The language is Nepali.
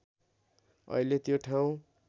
अहिले त्यो ठाउँ